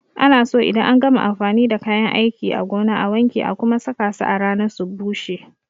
Ana so idan an gama amfani da kayan aiki a gona a wanke a kuma saka su a rana su bushe.